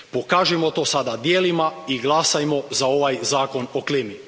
Pokažimo to sada djelima i glasajmo za ovaj Zakon o klimi.